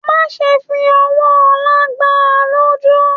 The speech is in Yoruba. Má ṣe fí ọwọ́ ọlá gbà a lójú!